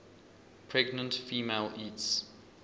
pregnant female eats